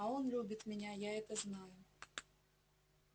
а он любит меня я это знаю